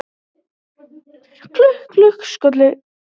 Klukk, klukk, skolli